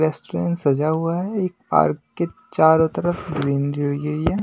Restaurant सजा हुआ है एक पार्क के चारों तरफ ग्रीनरी लगी हुई है।